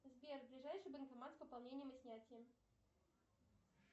сбер ближайший банкомат с пополнением и снятием